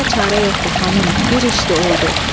Olacağına çarə yoxdu xanım, bir işdi oldu.